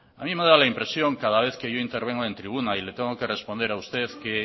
a mí me da la impresión cada vez que yo intervengo en tribuna y le tengo que responder a usted que